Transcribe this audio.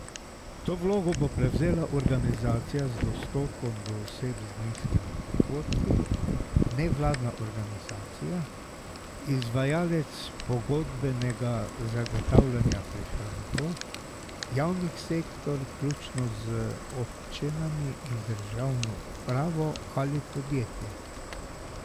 To vlogo bo prevzela organizacija z dostopom do oseb z nizkimi prihodki, nevladna organizacija, izvajalec pogodbenega zagotavljanja prihrankov, javni sektor vključno z občinami in državno upravo ali podjetje.